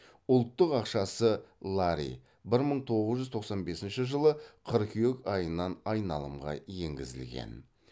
ұлттық ақшасы лари бір мың тоғыз жүз тоқсан бесінші жылы қыркүйек айынан айналымға енгізілген